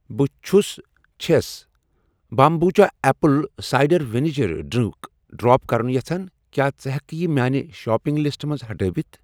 بہٕ چھس چھَس بامبوٗچا apple cider vinegar drink drop کرُن یژھان، کیٛاہ ژٕ ہٮ۪کہٕ یہِ میانہِ شاپنگ لسٹہٕ منٛز ہٹٲوِتھ؟